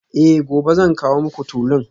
Eh gobe zan kawo muku tulun